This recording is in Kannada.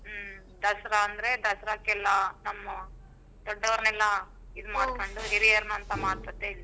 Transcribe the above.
ಹ್ಮ್ ದಸರಾ ಅಂದ್ರೆ ದಸರಕೆಲ್ಲ ನಮ್ಮ ದೊಡ್ಡೊರ್ ನೆಲ್ಲಾ ಮಾಡ್ಕೊಂಡ್ ಹಿರಿಯರ್ನಂತ ಮಾಡ್ಕೋತಾ ಇದ್ವಿ.